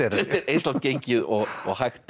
eins langt gengið og hægt er